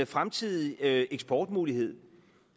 fremtidig eksportmulighed